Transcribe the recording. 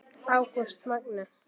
Ágúst Magni.